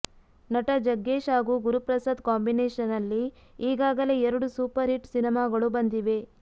ನಟ ಜಗ್ಗೇಶ್ ಹಾಗೂ ಗುರುಪ್ರಸಾದ್ ಕಾಂಬಿನೇಶನ್ ನಲ್ಲಿ ಈಗಾಗಲೇ ಎರಡು ಸೂಪರ್ ಹಿಟ್ ಸಿನಿಮಾಗಳು ಬಂದಿವೆ